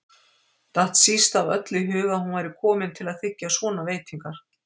Datt síst af öllu í hug að hún væri komin til að þiggja svona veitingar.